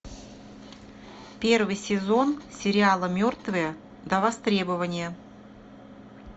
первый сезон сериала мертвые до востребования